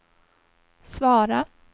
svara